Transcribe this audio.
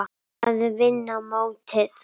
Að vinna mótið?